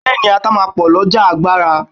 Bẹẹni, ata máa ń pò lọjà agbara.